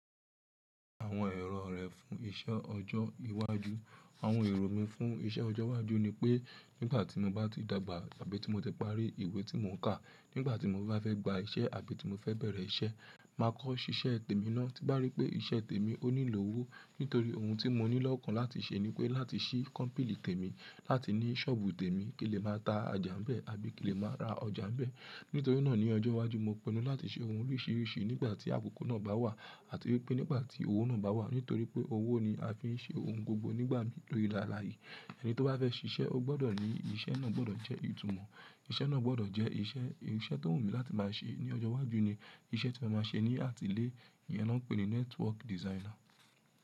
Àwọn èrò rẹ̀ fún iṣẹ́ ọjọ́ iwájú. Àwọn èrò mi fún iṣẹ́ ọjọ́ iwájú ni pé nígbà tí mo bá ti dàgbà àbí tí mo ti parí ìwé tí mò ń kà, nígbà tí mo bá fẹ́ gba iṣẹ́ àbí tí mo fẹ́ bẹ̀rẹ̀ iṣẹ́, màá kọ́ ṣiṣẹ́ tèmi ná. Ti n bá rí pé iṣẹ́ tèmi ó nílò owó. Nítorí ohun tí mo ní lọ́kàn láti ṣe ni pé láti ṣí company tèmi, láti ní shop tèmi, kí lè máa ta ọjà n bẹ́ẹ̀ àbí kí lè máa ra ọjà n bẹ́ẹ̀. Nítorí náà ní ọjọ́ iwájú mo pinnu láti ṣe ohun oríṣiríṣi nígbà tí àkókò náà bá wà àti wípé nígbà tí owó náà bá wà. Nítorí pé owó ni a fi ń ṣe ohun gbogbo nígbà mì lórí ìle áláyé. Ẹni tó bá fẹ́ ṣiṣẹ́, ó gbọdọ̀ ní, iṣẹ́ náà gbọdọ̀ jẹ́ ìtumọ̀. Iṣẹ́ náà gbọdọ̀ jẹ́ iṣẹ́, iṣẹ́ tó wù mí láti máa ṣe ní ọjọ́ iwájú ni iṣẹ́ tí mo màá máa ṣe ní àtìlé, iyen ni wọ́n ń pè ní network designer.